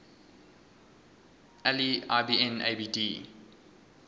ali ibn abd